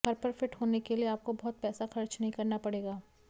घर पर फिट होने के लिए आपको बहुत पैसा खर्च नहीं करना पड़ेगा